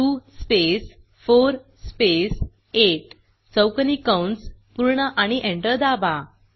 2 space 4 space 8 चौकोनी कंस पूर्ण आणि एंटर दाबा